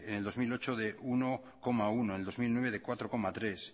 en el dos mil ocho de uno coma uno en el dos mil nueve de cuatro coma tres